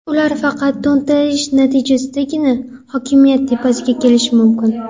Ular faqat to‘ntarish natijasidagina hokimiyat tepasiga kelishi mumkin.